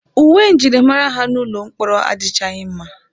Uwe njirimara ha n'ụlọ mkpọrọ adịchaghị mma.